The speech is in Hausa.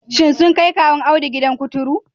Shin sun kai Kawun Audu gidan kuturu